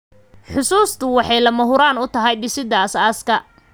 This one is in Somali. Xusuustu waxay lama huraan u tahay dhisidda aasaaska.